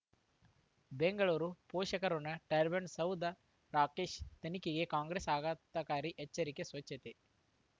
ಬೆಂಗಳೂರು ಪೋಷಕರಋಣ ಟರ್ಬೈನು ಸೌಧ ರಾಕೇಶ್ ತನಿಖೆಗೆ ಕಾಂಗ್ರೆಸ್ ಆಘಾತಕಾರಿ ಎಚ್ಚರಿಕೆ ಸ್ವಚ್ಛತೆ